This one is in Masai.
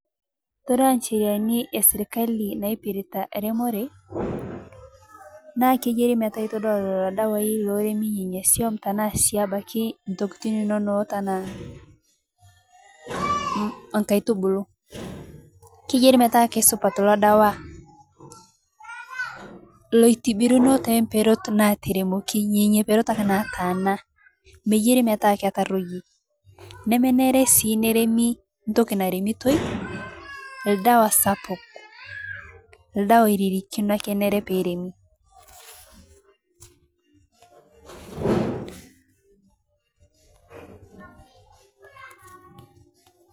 Todua ncheriani e sirikali naipirita remore, naakeyiri metaa kore lolo dawai loremi nenia swum tanaa si abaki ntokitin inono ata, nkaitubulu, keyiari metaa kesupat lodawa loitibirino te mberot naatana meyiari metaa ketaroyie, nemenere sii peremi ntoki naremitoi ldawa sapuk, ldawa oririkino ake eyiari peremi.